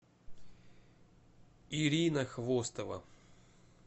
ирина хвостова